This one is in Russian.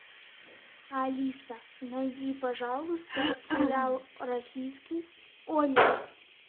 алиса найди пожалуйста сериал российский ольга